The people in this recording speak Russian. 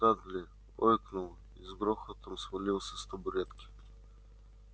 дадли ойкнул и с грохотом свалился с табуретки